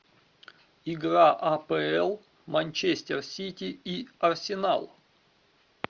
игра апл манчестер сити и арсенал